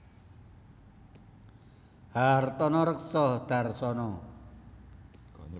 Hartono Rekso Dharsono